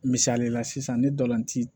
Misalila sisan ne dolan ti